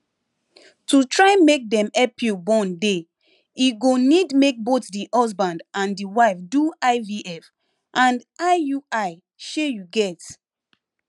to try make them help you born dey e go need make both the husband and the wife do ivf and iui shey you get